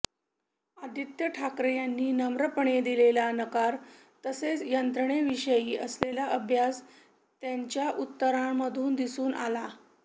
आदित्य ठाकरे यांनी नम्रपणे दिलेला नकार तसेच यंत्रणेविषयी असलेला अभ्यास त्यांच्या उत्तरांमधून दिसून आला